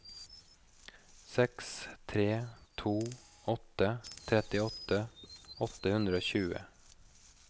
seks tre to åtte trettiåtte åtte hundre og tjue